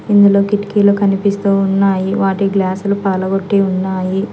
ఇందులో కిటికీలు కనిపిస్తూ ఉన్నాయి వాటి గ్లాసులు పగలగొట్టి ఉన్నాయి.